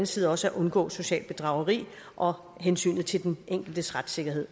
side også at undgå socialt bedrageri og hensynet til den enkeltes retssikkerhed